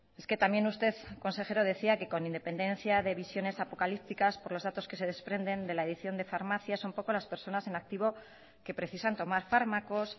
es que también usted consejero decía que con independencia de visiones apocalípticas por los datos que se desprenden de la edición de farmacias un poco las personas en activo que precisan tomar fármacos